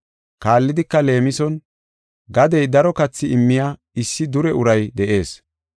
Kaallidika leemison, “Gadey daro kathi immiya issi dure uray de7ees.